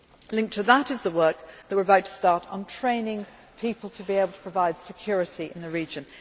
Linked to that is the work that we are about to start on training people to be able to provide security in the region.